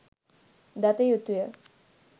දත යුතුය.